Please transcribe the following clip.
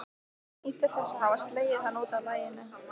Hún nýtur þess að hafa slegið hann út af laginu.